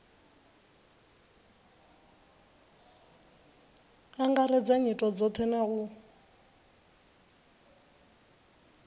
angaredza nyito dzothe na u